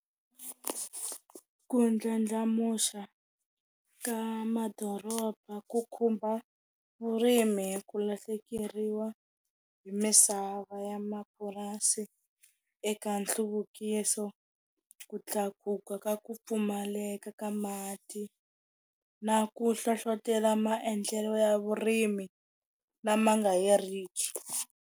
Ku ndlandlamuxa ka madoroba, ku khumba vurimi ku lahlekeriwa hi misava ya mapurasi eka nhluvukiso, ku tlakuka ka ku pfumaleka ka mati, na ku hlohlotela maendlelo ya vurimi lama nga heriki.